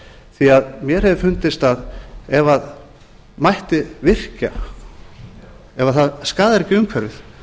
mér hefur fundist að ef mætti virkja ef það skaðar ekki umhverfið